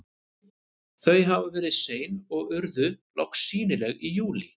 Þau hafa verið sein og urðu loks sýnileg í júlí.